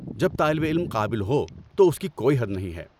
جب طالب علم قابل ہو تو اس کی کوئی حد نہیں ہے۔